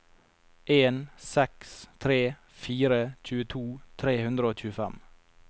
en seks tre fire tjueto tre hundre og tjuefem